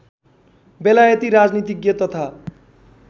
बेलायती राजनीतिज्ञ तथा